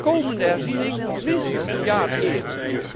De komende herziening moet minstens een jaar eerder.